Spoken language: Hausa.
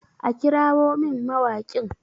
a kirawon min mawaƙin!